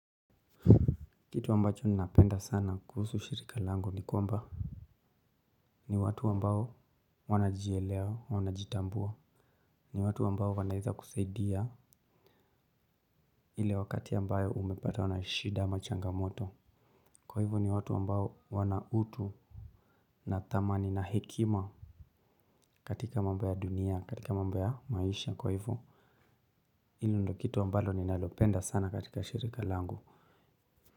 Kitu ambacho ninapenda sana kuhusu shirika langu ni kwamba ni watu ambao wanajielewa wanajitambua. Ni watu ambao wanaeza kusaidia ile wakati ambayo umepatwa na shida ama changamoto. Kwa hivo ni watu ambao wana utu. Na thamani na hekima katika mambo ya dunia katika mambo ya maisha kwa hivo. Hilo ndo kitu ambalo ninalopenda sana katika shirika langu.